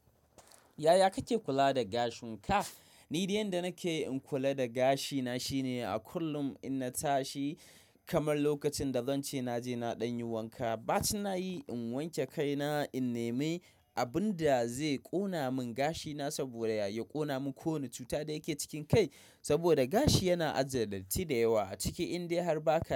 Yaya kake kula da gashin ka? Ni dai yanda nake in kula da gashina shine a kullum in na tashi kamar lokacin da zan ce na je na ɗan yi wanka, bacin nayi in wanke kaina, in nemi abun da zai ƙona mun gashina saboda yaya ƙona mun ko wane cuta da yake cikin kai. Saboda gashi yana ajiye datti da yawa a ciki in dai har ba ka.